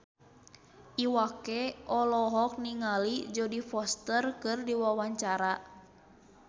Iwa K olohok ningali Jodie Foster keur diwawancara